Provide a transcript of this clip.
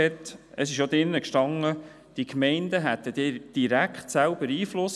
Das können wir nicht akzeptieren.